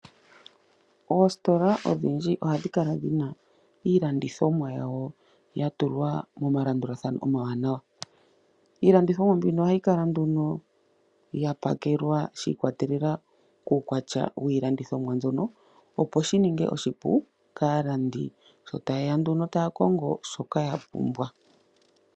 Oositola odhindji ohadhi kala dhina iilandithomwa yawo ya tulwa momalandulathano omawanawa. Iilandithomwa mbino ohayi kala nduno ya pakelwa shi ikwatelela kuukwatya wiilandithomwa mbyono opo shi ninge oshipu kaalandi, sho taye ya nduno taya kongo shoka ya pumbwa.